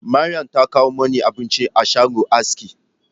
Maryama ta kawo mini abinci a shagon aski